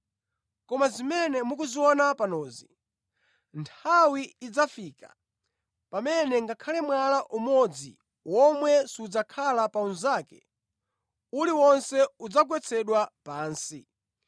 “Koma zimene mukuziona panozi, nthawi idzafika pamene ngakhale mwala umodzi omwe sudzakhala pa unzake; uliwonse udzagwetsedwa pansi.”